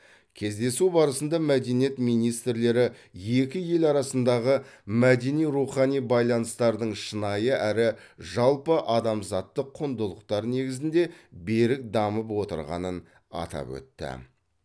кездесу барысында мәдениет министрлері екі ел арасындағы мәдени рухани байланыстардың шынайы әрі жалпыадамзаттық құндылықтар негізінде берік дамып отырғанын атап өтті